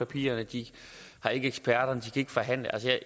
papirerne at de har ikke eksperterne og ikke kan forhandle